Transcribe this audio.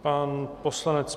Pan poslanec